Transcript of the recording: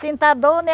Sinto a dor, né?